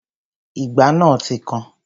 Ìgbá náà ti kan